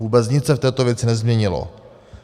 Vůbec nic se v této věci nezměnilo.